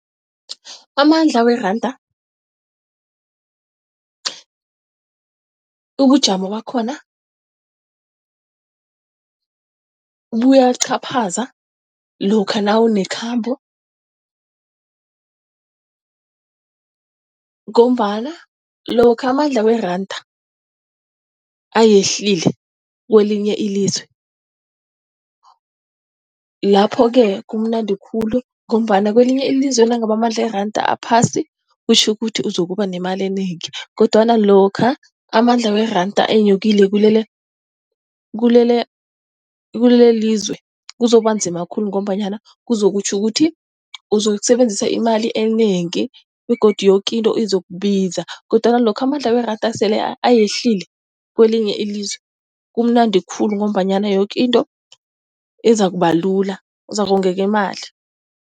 Amandla weranda, ubujamo bakhona buyaqhaphaza lokha nawunekhambo ngombana lokha amandla weranda ayehlile kwelinye ilizwe lapho-ke kumnandi khulu ngombana kwelinye ilizwe nangabe amandla iranda aphasi kutjho ukuthi uzokuba nemali enengi. Kodwana lokha amandla weranda enyukile kulele kulelizwe, kuzokuba nzima khulu ngombanyana kuzokutjho ukuthi uzokusebenzisa imali enengi begodu yoke into izokubiza. Kodwana lokha amandla weranda sele ayehlile, kwelinye ilizwe, kumnandi khulu ngombanyana yoke into izikuba lula uzakonga imali.